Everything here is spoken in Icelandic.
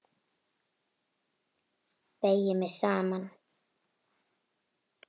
Beygi mig saman.